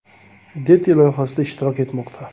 Deti” loyihasida ishtirok etmoqda.